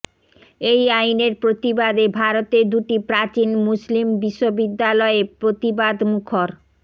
এই আইনের প্রতিবাদে ভারতের দুটি প্রাচীন মুসলিম বিশ্ববিদ্যালয়ে প্রতিবাদমুখর